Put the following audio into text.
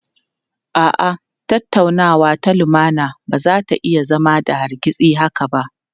A'a, tattaunawa ta lumana ba za ta iya zama da hargitsi haka ba.